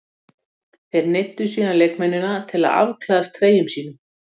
Þeir neyddu síðan leikmennina til að afklæðast treyjum sínum.